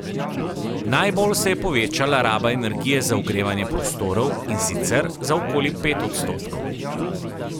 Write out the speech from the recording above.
Najbolj se je povečala raba energije za ogrevanje prostorov, in sicer za okoli pet odstotkov.